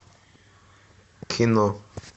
кино